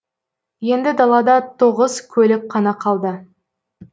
енді далада тоғыз көлік қана қалды